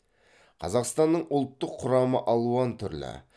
қазақстанның ұлттық құрамы алуан түрлі